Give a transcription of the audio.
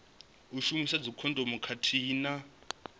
u shumisa dzikhondomu khathihi na